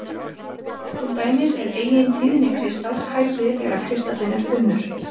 Til dæmis er eigintíðni kristals hærri þegar kristallinn er þunnur.